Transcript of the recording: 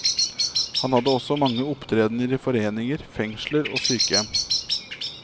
Han hadde også mange opptredener i foreninger, fengsler og sykehjem.